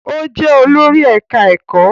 Ó jẹ́ olórí ẹ̀ká ẹ̀kọ́